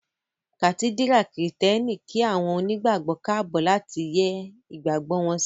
Kàtídírà kìrììtẹ́nì kí àwọn onígbàgbọ́ káàbọ̀ láti yẹ́ ìgbàgbọ́ wọn sí